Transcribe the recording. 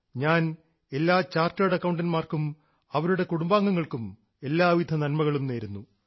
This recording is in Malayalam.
ഞാൻ എല്ലാ ചാർട്ടേഡ് അക്കൌണ്ടൻറ്സിനും അവരുടെ കുടുംബാംഗങ്ങൾക്കും എല്ലാവിധ നന്മകളും നേരുന്നു